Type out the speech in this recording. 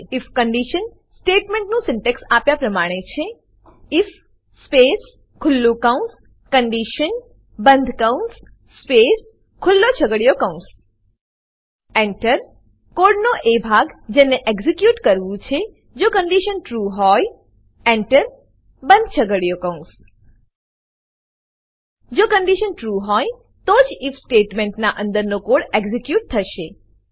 if condition સ્ટેટમેન્ટનું syntax આપ્યા પ્રમાણે છે આઇએફ સ્પેસ ખુલ્લું કૌંસcondition બંધ કૌંસ સ્પેસ ખુલ્લો છગડીયો કૌંસ Enter એન્ટર કોડનો એ ભાગ જેને એક્ઝીક્યુટ કરવું છે જો કન્ડીશન ટ્રૂ હોય Enter એન્ટર બંધ છગડીયો કૌંસ જો કન્ડીશન ટ્રૂ હોય તો જ આઇએફ સ્ટેટમેન્ટના અંદરનો કોડ એક્ઝીક્યુટ થશે